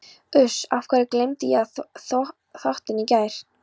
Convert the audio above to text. Uss. af hverju gleymdi ég að þvo þvottinn í gær?